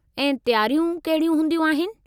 ऐं तयारियूं कहिड़ी हूंदियूं आहिनि?